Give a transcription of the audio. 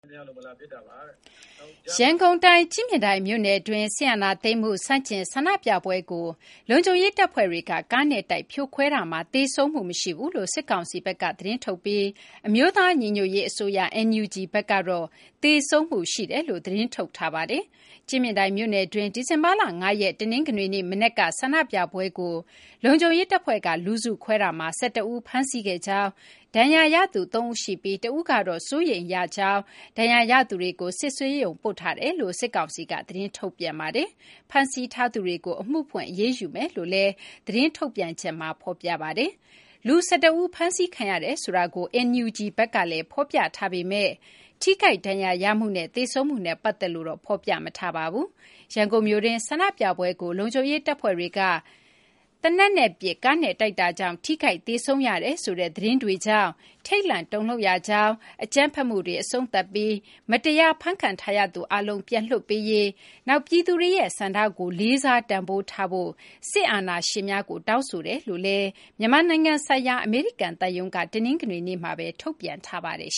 ရန်ကုန်တိုင်း ကြည့်မြင်တိုင်မြို့နယ်တွင်း စစ်အာဏာသိမ်းမှု ဆန့်ကျင် ဆန္ဒပြပွဲကို လုံခြုံရေးတပ်ဖွဲ့တွေက ကားနဲ့တိုက် ဖြိုခွဲခဲ့မှုမှာ သေဆုံးမှုမရှိဘူးလို့ စစ်ကောင်စီဘက်က သတင်းထုတ်ပြန်ပြီး အမျိုးသားညီညွတ်ရေးအစိုးရ (NUG) ဘက်ကတော့ သေဆုံးမှုရှိကြောင်း သတင်းထုတ်ထားပါတယ်။ ကြည့်မြင်တိုင်မြို့နယ်တွင်း ဒီဇင်ဘာလ ၅ ရက် တနင်္ဂနွေနေ့ မနက်က ဆန္ဒပြပွဲကို လုံခြုံရေးတပ်ဖွဲ့က လူစုခွဲတာမှာ ၁၁ ဦး ဖမ်းဆီးခဲ့ကြောင်း၊ ဒဏ်ရာရသူ ၃ ဦးရှိပြီး တဦးက အသက်အန္တရာယ် စိုးရိမ်ရတဲ့ဒဏ်ရာ ရထားကြောင်း၊ ဒဏ်ရာရသူတွေကို စစ်ဆေးရုံပို့ထားကြောင်း စစ်ကောင်စီက သတင်းထုတ်ပါတယ်။ ဖမ်းဆီးထားသူတွေကို အမှုဖွင့် အရေးယူမယ်လို့လည်း စစ်ကောင်စီက သတင်းထုတ်ပါတယ်။ လူ ၁၁ ဦး ဖမ်းဆီးခံရတယ်ဆိုတာကို NUG ဘက်ကလည်း ဖော်ပြထားပေမယ့် ထိခိုက်ဒဏ်ရာရမှုနဲ့ သေဆုံးမှုနဲ့ ပတ်သက်လို့တော့ ဖော်ပြမထားပါဘူး။ ရန်ကုန်မြို့တွင်း ဆန္ဒပြပွဲကို လုံခြုံရေးတပ်ဖွဲ့တွေက သေနတ်နဲ့ပစ်၊ ကားနဲ့တိုက်တာကြောင့် ထိခိုက်သေဆုံးရတယ်ဆိုတဲ့ သတင်းတွေကြောင့် ထိတ်လန့်တုန်လှုပ်ရကြောင်း၊ အကြမ်းဖက်မှုတွေ အဆုံးသတ်ပြီး မတရား ဖမ်းခံထားရသူအားလုံး ပြန်လွှတ်ပေးရေး၊ နောက် ပြည်သူတွေရဲ့ ဆန္ဒကို လေးစား တန်ဖိုးထားဖို့ စစ်အာဏာရှင်များကို တောင်းဆိုကြောင်းလည်း မြန်မာနိုင်ငံဆိုင်ရာ အမေရိကန်သံရုံးက ထုတ်ပြန်ထားပါတယ်